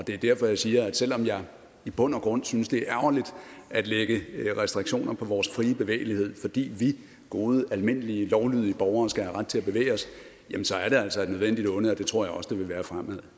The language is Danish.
det er derfor jeg siger at selv om jeg i bund og grund synes det er ærgerligt at lægge restriktioner på vores frie bevægelighed fordi vi gode almindelige lovlydige borgere skal have ret til at bevæge os så er det altså et nødvendigt onde og det tror jeg også det vil være fremover